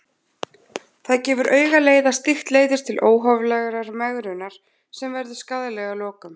Það gefur augaleið að slíkt leiðir til óhóflegrar megrunar sem verður skaðleg að lokum.